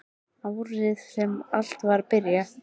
Árið sem allt var að byrja.